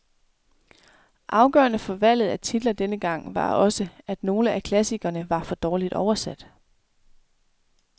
Afgørende for valget af titler denne gang var også, at nogle af klassikerne var for dårligt oversat.